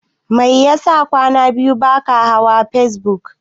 Mai yasa kwana biyu baka hawa facebook?